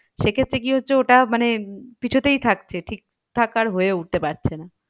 সে ক্ষেত্রে কি হচ্ছে ওটা মানে পিছতেই থাকছে ঠিক ঠাক আর হয়ে উঠতে পারছে না।